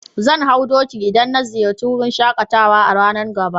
Zan hau doki idan na ziyace wurin shakatawa a'ranan gaba.